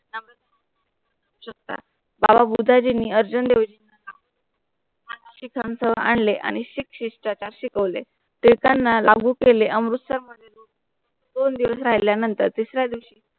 चोथा बाबा भुडाई जींनी अर्जुन देवजींच्या नाव आणले आणि शिक शिष्टता शिकवले ते त्याना लागू केले अमृत च्या दोन दिवस राहिल्या नंतर